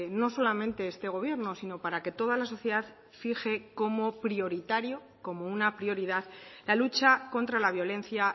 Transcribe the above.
no solamente este gobierno sino para que toda la sociedad fije como prioritario como una prioridad la lucha contra la violencia